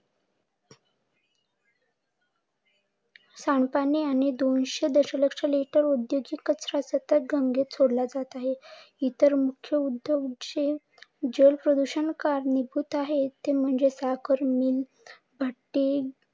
सांडपाणी आणि दोनशे दश लक्ष लिटर औद्योगिक कचरा सतत गंगेत सोडला जात आहे. इतर मुख्य उद्योग जे जल प्रदूषण कारणीभूत आहे ते म्हणजे साखर मिल, भट्टी